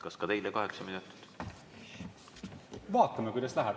Kas ka teile kaheksa minutit?